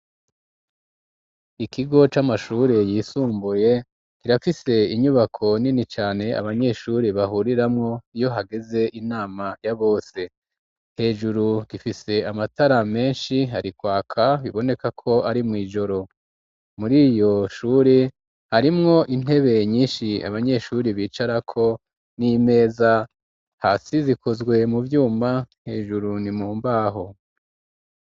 Ikigo c'amashure yisumbuye kirafise inyubako nini cane abanyeshure bahuriramwo iyo hageze inama ya bose hejuru gifise amatara menshi harikwaka biboneka ko ari mu ijoro muri Iryo shure harimwo intebe nyinshi abanyeshure bicarako n'imeza hasi zikozwe mu vyuma hejuru nimumbaho.